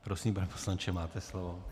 Prosím, pane poslanče, máte slovo.